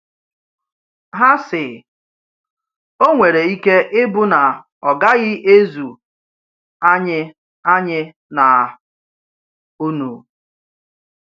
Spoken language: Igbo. Ha sị: Ò nwere ike ịbụ na ọ gaghị ezu anyị anyị na unu.